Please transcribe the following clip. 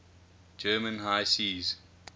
german high seas